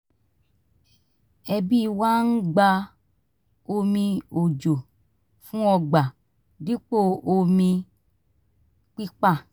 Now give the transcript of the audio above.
ẹbí wa ń gba omi òjò fún ọgbà dipo omi pípà